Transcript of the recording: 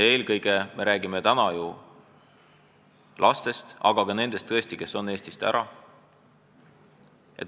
Eelkõige me räägime täna ju lastest, aga ka nendest täiskasvanutest, kes on Eestist ära.